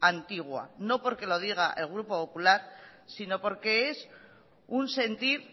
antigua no porque lo diga el grupo popular sino porque es un sentir